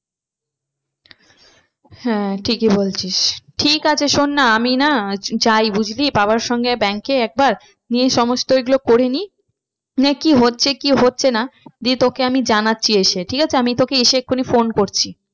হ্যাঁ ঠিকই বলছিস ঠিক আছে শোন না আমি না যাই বুঝলি বাবার সঙ্গে bank এ একবার নিয়ে সমস্ত এইগুলো করে নিই মানে কি হচ্ছে কি হচ্ছে না দিয়ে তোকে আমি জানাচ্ছি এসে ঠিক আছে। আমি তোকে এসে এক্ষুনি phone করছি।